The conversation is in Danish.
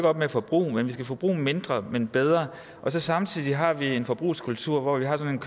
op med at forbruge men vi skal altså forbruge mindre men bedre og samtidig har vi en forbrugskultur hvor vi har sådan